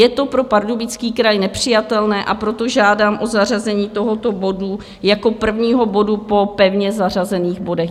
Je to pro Pardubický kraj nepřijatelné, a proto žádám o zařazení tohoto bodu jako prvního bodu po pevně zařazených bodech.